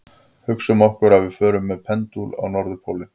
Hugsum okkur að við förum með pendúl á norðurpólinn.